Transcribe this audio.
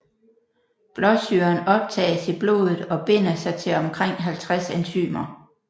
Blåsyren optages i blodet og binder sig til omkring 50 enzymer